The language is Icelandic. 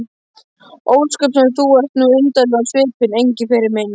Ósköp sem þú ert nú undarlegur á svipinn, Engiferinn minn.